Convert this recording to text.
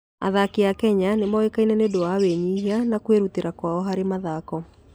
Athaki a Kenya nĩ moĩkaine nĩ ũndũ wa wĩnyihia na kwĩrutĩra kwao harĩ mathako.